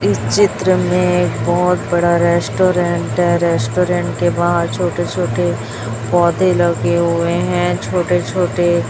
इस चित्र में एक बहोत बड़ा रेस्टोरेंट है। रेस्टोरेंट के बाहर छोटे-छोटे पौधे लगे हुए हैं। छोटे-छोटे --